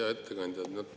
Hea ettekandja!